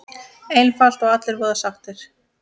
Einfalt og allir voða sáttir!